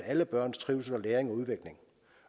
at alle børns trivsel læring